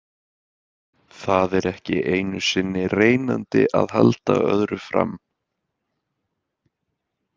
Það er ekki einu sinni reynandi að halda öðru fram.